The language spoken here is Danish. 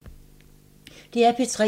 DR P3